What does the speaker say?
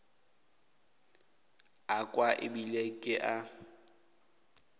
a kwa ebile ke a